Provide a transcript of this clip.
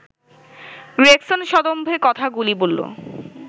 Gregson সদম্ভে কথা গুলি বলল